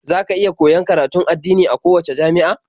Za ka iya koyon karatun addini a kowacce jami'a.